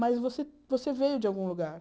Mas você você veio de algum lugar.